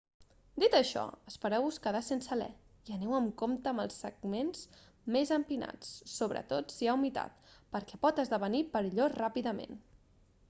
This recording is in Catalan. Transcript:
dit això espereu-vos quedar sense alè i aneu amb compte en els segments més empinats sobretot si hi ha humitat perquè pot esdevenir perillós ràpidament